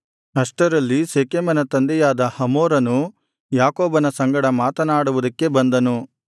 ಅಷ್ಟರಲ್ಲಿ ಶೆಕೆಮನ ತಂದೆಯಾದ ಹಮೋರನು ಯಾಕೋಬನ ಸಂಗಡ ಮಾತನಾಡುವುದಕ್ಕೆ ಬಂದನು